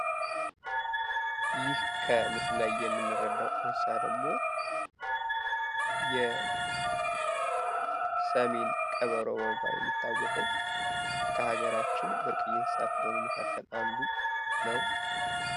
ይህ ከምስሉ የምንረዳው እንስሳ ደግሞ የሰሜን ቀበሮ በመባል የሚታወቀው ከሀገራችን ብርቅየ እንስሳት ከሆኑት መካከል አንዱ ነው።